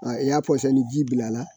i y'a pɔsɔnni ji bil'a la